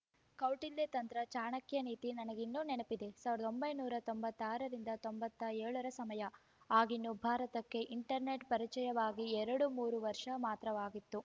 ಕೌಟಿಲ್ಯ ತಂತ್ರ ಚಾಣಕ್ಯ ನೀತಿ ನನಗಿನ್ನೂ ನೆನಪಿದೆ ಸಾವಿರದ ಒಂಬೈನೂರ ತೊಂಬತ್ತಾರರಿಂದ ತೊಂಬತ್ತೇಳರ ಸಮಯ ಆಗಿನ್ನೂ ಭಾರತಕ್ಕೆ ಇಂಟರ್ನೆಟ್‌ ಪರಿಚಯವಾಗಿ ಎರಡು ಮೂರು ವರ್ಷ ಮಾತ್ರವಾಗಿತ್ತು